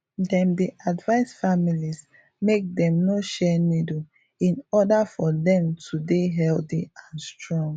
dem dey advice families make dem no share needle in order for dem to dey healthy and strong